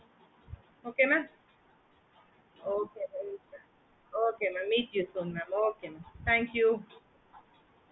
ஆஹ் okay madam okay seri madam நாங்க அப்போ வரும் direct ஆஹ் வரும் செறிங்களா thank you கா thank you madam